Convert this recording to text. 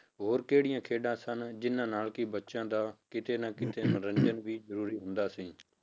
ਹੋਰ ਕਿਹੜੀਆਂ ਖੇਡਾਂ ਸਨ, ਜਿੰਨਾਂ ਨਾਲ ਕਿ ਬੱਚਿਆਂ ਦਾ ਕਿਤੇ ਨਾ ਕਿਤੇ ਮਨੋਰੰਜਨ ਵੀ ਜ਼ਰੂਰੀ ਹੁੰਦ ਸੀ।